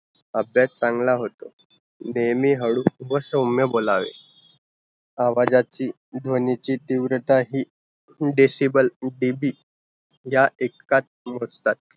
अभ्यास चांगला होतो, नेहमी हळू व सोम्या बोलावे आवाजाची ध्वनी ची तीव्रता ही disable DB या एककात मोजतात